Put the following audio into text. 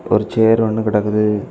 ஒரு சேர் ஒன்னு கடக்குது.